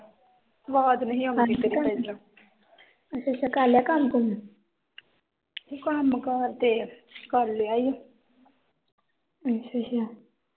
ਅੱਛਾ ਅੱਛਾ